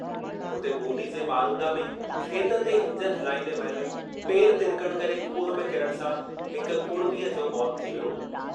हुते बूंदी जे मारूंदा में खेत ते इंजन हलाईंदे महिल पेर तिरकणु करे खूह में किरणु सां हिक कुड़मीअ जो मौतु थी वियो।